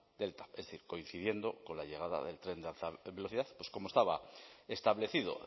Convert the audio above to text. del tav es decir coincidiendo con la llegada del tren de alta velocidad como estaba establecido